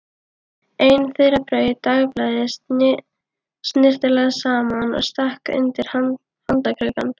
Einn þeirra braut dagblaðið snyrtilega saman og stakk undir handarkrikann.